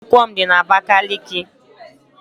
Ụlọ akwụkwọ m dị na Abakiliki